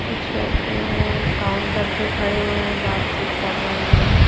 कुछ लोग काउंटर पे खड़े हुए हैं बातचीत कर रहे हुए हैं।